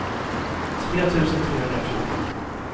tre tusen trehundrafjorton